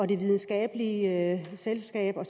de videnskabelige selskaber